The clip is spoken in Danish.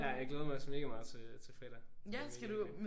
Ja jeg glæder mig også mega meget til øh til fredag. Det bliver mega fedt